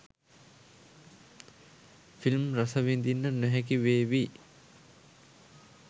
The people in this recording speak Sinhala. ෆිල්ම් රසවිදින්න නොහැකි වේවි.